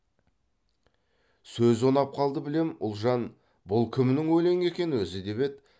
сөзі ұнап қалды білем ұлжан бұл кімнің өлеңі екен өзі деп еді